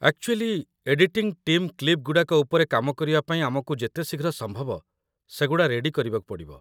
Actually, editing team କ୍ଲିପ୍‌ଗୁଡ଼ାକ ଉପରେ କାମ କରିବା ପାଇଁ ଆମକୁ ଯେତେ ଶୀଘ୍ର ସମ୍ଭବ ସେଗୁଡ଼ା ରେଡି କରିବାକୁ ପଡ଼ିବ ।